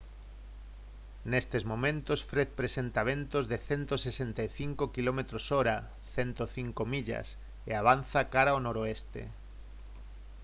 nestes momento fred presenta ventos de 165 km/h 105 millas e avanza cara ao noroeste